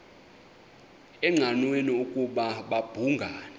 engqanweni ukuba babhungani